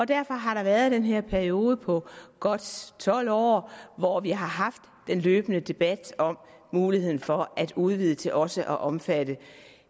derfor har der været den her periode på godt tolv år hvor vi har haft en løbende debat om muligheden for at udvide til også at omfatte